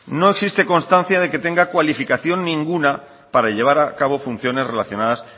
no existe constancia de que tenga cualificación ninguna para llevar a cabo funciones relacionadas